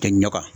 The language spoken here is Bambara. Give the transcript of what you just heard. Tɛ ɲaga